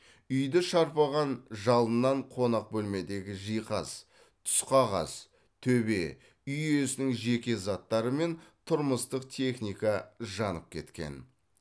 үйді шарпыған жалыннан қонақ бөлмедегі жиһаз түсқағаз төбе үй иесінің жеке заттары мен тұрмыстық техника жанып кеткен